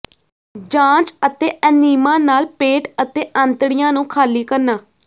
ਜਾਂਚ ਅਤੇ ਐਨੀਮਾ ਨਾਲ ਪੇਟ ਅਤੇ ਆਂਤੜੀਆਂ ਨੂੰ ਖਾਲੀ ਕਰਨਾ